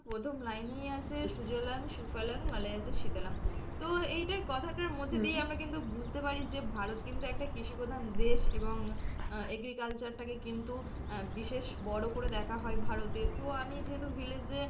"প্রথম line এই আছে ""সুজলাং সুফলাং মলয়জশীতলাম্"" তো এইটার কথাটার মধ্যে দিয়ে আমরা কিন্তু বুঝতে পারি যে ভারত কিন্তু একটা কৃষি প্রধান দেশ এবং আহ agriculture টাকে কিন্তু আহ বিশেষ বড় করে দেখা হয় ভারতে তো আমি যেহেতু village এ"